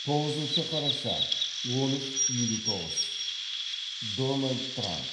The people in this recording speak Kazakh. тоғызыншы қараша он үш елу тоғыз дональд трамп